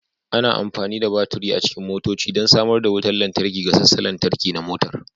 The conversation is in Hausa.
Ana amfani da baturi a cikin motoci don sanar da wutar lantarki ga sassan lantarki na motar